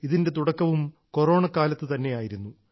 ഇതിന്റെ തുടക്കവും കൊറോണക്കാലത്തു തന്നെയായിരുന്നു